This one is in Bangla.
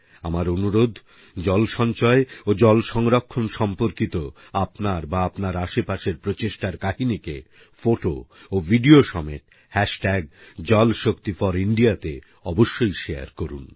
আমার অনুরোধ জল সঞ্চয় ও জল সংরক্ষণ সম্পর্কিত আপনার বা আপনার আশেপাশের প্রচেষ্টার কাহিনীকে ফোটো ও ভিডিও সমেত jalshakti4India তে অবশ্যই শেয়ার করুন